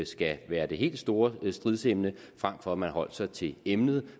skal være det helt store stridsemne frem for at man holdt sig til emnet